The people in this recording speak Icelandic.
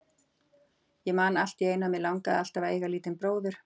Ég man alltíeinu að mig langaði alltaf að eiga lítinn bróður.